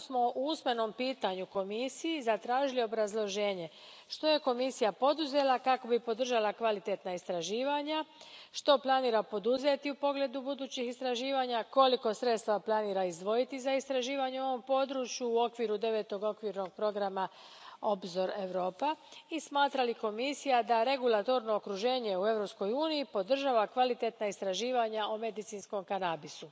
Zato smo u usmenom pitanju Komisiji zatražili obrazloženje što je Komisija poduzela kako bi podržala kvalitetna istraživanja, što planira poduzeti u pogledu budućih istraživanja, koliko sredstava planira izdvojiti za istraživanja u ovom području u okviru Devetog okvirnog programa Obzor Europa i smatra li Komisija da regulatorno okruženje u Europskoj uniji podržava kvalitetna istraživanja o medicinskom kanabisu.